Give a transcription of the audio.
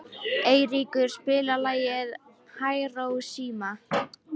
Eiríkur, spilaðu lagið „Hiroshima“.